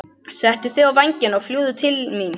Settu á þig vængina og fljúgðu til mín.